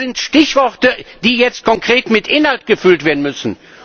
Das sind Stichworte, die jetzt konkret mit Inhalt gefüllt werden müssen.